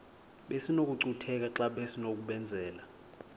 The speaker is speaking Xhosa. besinokucutheka xa besinokubenzela